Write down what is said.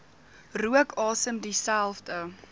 rook asem dieselfde